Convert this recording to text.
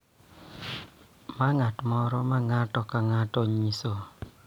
Ma ng�at moro ma ng�ato ka ng�ato nyiso.